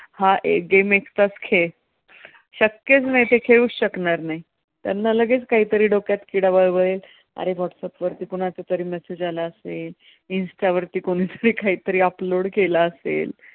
हा game एकटाच खेळ, शक्यच नाही. ते खेळूच शकणार नाही, त्यांना लगेच काहीतरी डोक्यात किडा वळवळेल अरे व्हाट्सएप वरती कुणाचा तरी message आला असेल, इन्स्टा वरती कोणीतरी काहीतरी upload केला असेल.